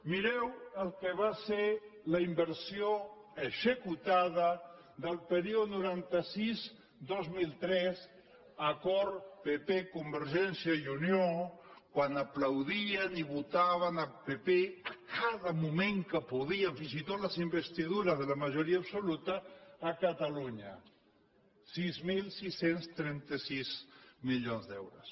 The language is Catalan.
mireu el que va ser la inversió executada del període noranta sis·dos mil tres acord pp · convergència i unió quan aplaudien i votaven el pp cada moment que podien fins i tot les investi·dures de la majoria absoluta a catalunya sis mil sis cents i trenta sis mili·ons d’euros